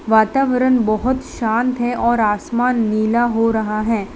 वातावरण बहोत शांत है और आसमान नीला हो रहा है।